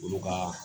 Olu ka